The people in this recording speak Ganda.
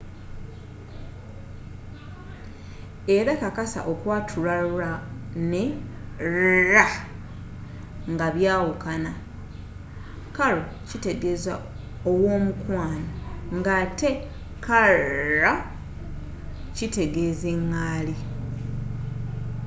era kakasa okwatula r ne rr nga byawukana caro kitegeeza ow'omukwano ng'ate carro kitegeeza eggaali